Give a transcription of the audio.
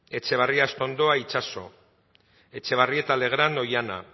etxebarria astondoa itxaso etxebarrieta legrand oihana